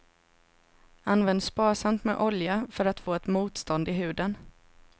Använd sparsamt med olja för att få ett motstånd i huden.